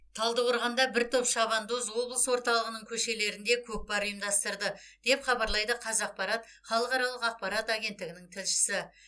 талдықорғанда бір топ шабандоз облыс орталығының көшелерінде көкпар ұйымдастырды деп хабарлайды қазақпарат халықаралық ақпарат агенттігінің тілшісі